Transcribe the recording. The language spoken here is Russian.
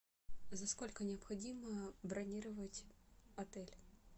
за сколько необходимо бронировать отель